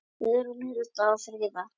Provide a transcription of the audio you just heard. Guðrún, Hulda og Fríða.